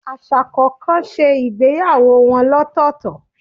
Aṣa kọọkan ṣe ìgbéyàwó wọn lọtọtọ